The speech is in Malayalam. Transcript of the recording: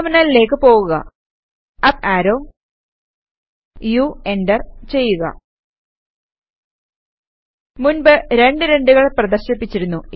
ടെർമിനലിലേക്ക് പോകുക അപ് ആരോ U എന്റർ ചെയ്യുക മുൻപ് രണ്ട് 2 കൾ പ്രദർശിപ്പിച്ചിരുന്നു